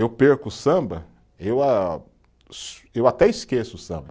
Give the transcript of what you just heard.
Eu perco o samba, eu a (assobio), eu até esqueço o samba.